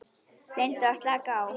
Reyndu að slaka á.